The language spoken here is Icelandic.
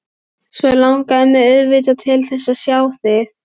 Svo langar mig auðvitað til þess að sjá þig.